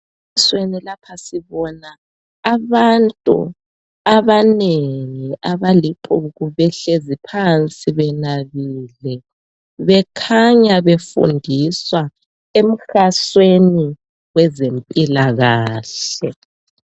Emfanekisweni lapha sibona abantu abanengi. Abalixuku. Behlezi phansi, benabile. Bekhanya befundiswa emhasweni wezempilakahle.